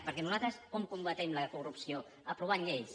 perquè nosaltres com combatem la corrupció aprovant lleis